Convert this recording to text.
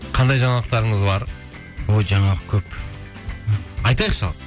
қандай жаңалықтарыңыз бар өй жаңалық көп айтайықшы ал